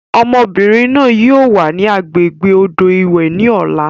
Ọmọbìnrin náà yìí ó wà ní agbègbè odò ìwẹ̀ ni ọ̀la.